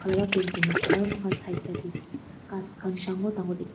aru ase aru moikhan side side te ghas khan dangor dangor dikhi.